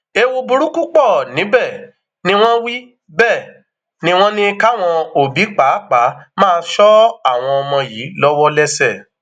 ẹwù burúkú pọ níbẹ ni wọn wí bẹẹ ni wọn ní káwọn òbí pàápàá máa ṣọ àwọn ọmọ yìí lọwọlẹsẹ